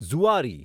Zuari